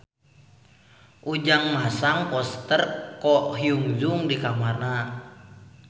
Ujang masang poster Ko Hyun Jung di kamarna